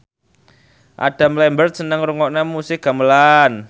Adam Lambert seneng ngrungokne musik gamelan